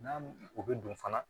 N'a o bɛ don fana